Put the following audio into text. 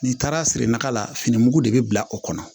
N'i taara siri naga la fini mugu de bi bila o kɔnɔ